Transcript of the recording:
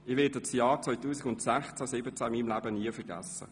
Ich werde das Jahr 2016/2017 mein Leben lang nie vergessen.